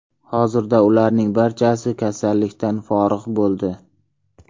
Hozirda ularning barchasi kasallikdan forig‘ bo‘ldi.